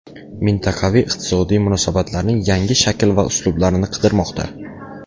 Mintaqaviy iqtisodiy munosabatlarning yangi shakl va uslublarini qidirmoqda.